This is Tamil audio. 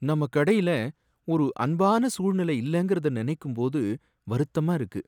நம்ம கடையில ஒரு அன்பான சூழ்நிலை இல்லங்கறத நினைக்கும்போது வருத்தமா இருக்கு.